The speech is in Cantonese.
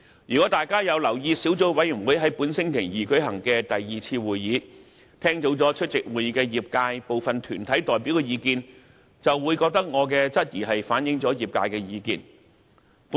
如果大家有留意小組委員會在本星期二舉行的第二次會議，聽到出席會議的業界部分團體代表的意見，就會認為我的質疑正反映業界的聲音。